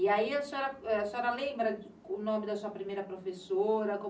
E aí a senhora, a senhora lembra o nome da sua primeira professora?